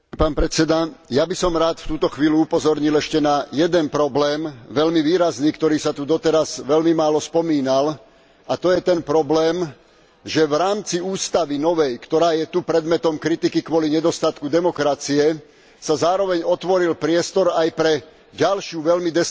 Pán predseda, ja by som rád v túto chvíľu upozornil ešte na jeden problém, veľmi výrazný, ktorý sa tu doteraz veľmi málo spomínal, a to je ten problém, že v rámci ústavy novej, ktorá je tu predmetom kritiky kvôli nedostatku demokracie, sa zároveň otvoril priestor aj pre ďalší veľmi